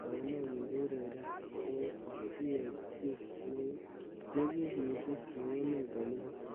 Tounet nyi koureren kokiek ki nekim missing eng emet komugul.